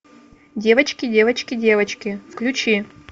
девочки девочки девочки включи